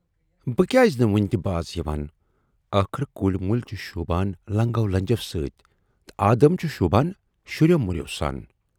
بہٕ کیازِ نہٕ وُنہِ تہِ باز یِوان! ٲخٕر کُلۍ مُلۍ چھِ شوٗبان لنگٮ۪و لنجٮ۪و سۭتۍ تہٕ آدم چھُ شوٗبان شُرٮ۪و مُرٮ۪و سان۔